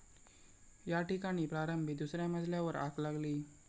या ठिकाणी प्रारंभी दुसऱ्या मजल्यावर आग लागली.